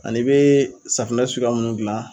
An'i bɛ safunɛ suguya munnu gilan